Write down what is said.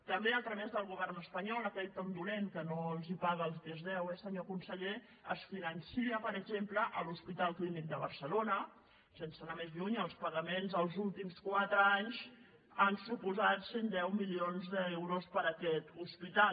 també a través del govern espanyol aquell tan dolent que no els paga el que es deu eh senyor conseller es finança per exemple l’hospital clínic de barcelona sense anar més lluny els pagaments dels últims quatres anys han suposat cent i deu milions d’euros per a aquest hospital